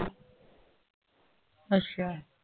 ਅੱਛਾ।